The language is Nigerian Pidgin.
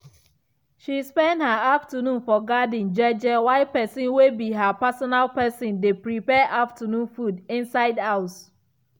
she spend her afternoon for garden jeje while person way be her personal person dey prepare afternoon food inside house.